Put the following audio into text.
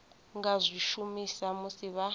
nga zwi shumisa musi vha